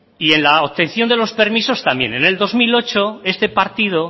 y en la obtención de los permisos también en el dos mil ocho este partido